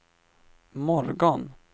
morgon